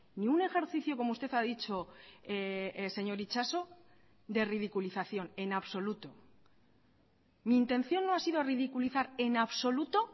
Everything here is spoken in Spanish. ni un ejercicio como usted ha dicho señor itxaso de ridiculización en absoluto mi intención no ha sido ridiculizar en absoluto